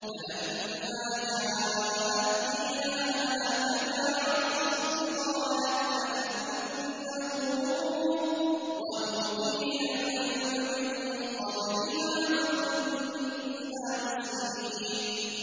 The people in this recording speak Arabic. فَلَمَّا جَاءَتْ قِيلَ أَهَٰكَذَا عَرْشُكِ ۖ قَالَتْ كَأَنَّهُ هُوَ ۚ وَأُوتِينَا الْعِلْمَ مِن قَبْلِهَا وَكُنَّا مُسْلِمِينَ